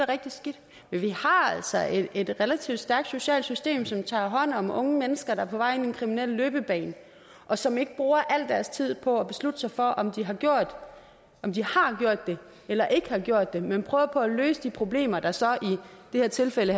rigtig skidt men vi har altså et relativt stærkt socialt system som tager hånd om unge mennesker på vej ind i en kriminel løbebane og som ikke bruger al deres tid på at beslutte sig for om den unge har gjort det eller ikke har gjort det men prøver på at løse de problemer der så i det her tilfælde